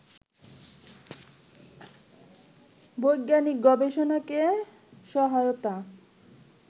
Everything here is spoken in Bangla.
বৈজ্ঞানিক গবেষণাকে সহায়তা